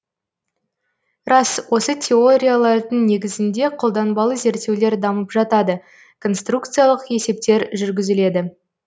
рас осы теориялардың негізінде қолданбалы зерттеулер дамып жатады конструкциялық есептер жүргізіледі